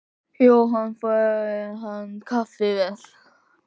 Jóhann: Fær hann kaffivél?